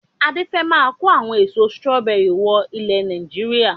Adé fẹ máa ko àwọn èso "strawberries" wọ ilẹ̀ Nàìjíríà.